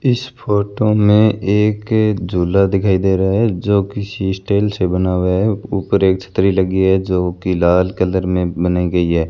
इस फोटो में एक झूला दिखाई दे रहा है जो किसी स्टाइल से बना हुआ है ऊपर एक छतरी लगी है जो कि लाल कलर में बनाई गई है।